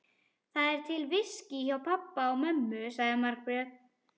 Það er til viskí hjá pabba og mömmu, sagði Margrét.